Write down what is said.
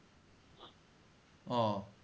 ও